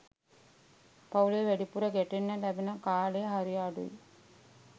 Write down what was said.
පවු‍ලේ වැඩිපුර ගැටෙන්න ලැබෙන කාලය හරි අඩුයි.